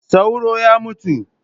Sauro ya mutu.